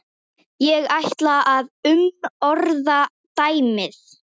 Ég ætla að umorða dæmið.